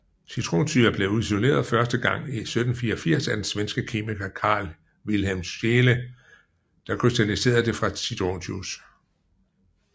Citronsyre blev isoleret første gang i 1784 af den svenske kemiker Carl Wilhelm Scheele der krystalliserede det fra citronjuice